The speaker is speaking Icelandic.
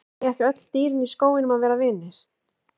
Eiga ekki öll dýrin í skóginum að vera vinir?